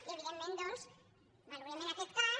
i evidentment doncs valorem en aquest cas